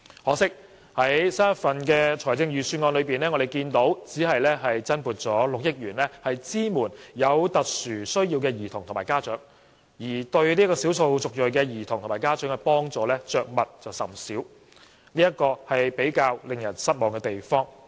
可惜，新一份預算案只增撥約6億元支援有特殊需要的兒童及家長，而對少數族裔兒童及家長的幫助卻着墨甚少，這是比較令人失望的地方。